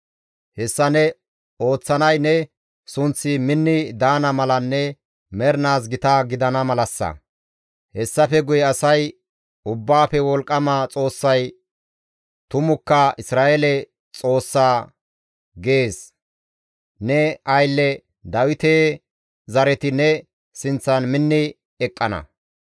Hessa ne ooththanay ne sunththi minni daana malanne mernaas gita gidana malassa; hessafe guye asay, ‹Ubbaafe Wolqqama Xoossay tumukka Isra7eele Xoossa› gaana gees; ne aylle Dawite zareti ne sinththan minni eqqana.